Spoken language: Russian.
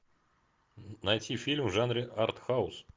найти фильм в жанре артхаус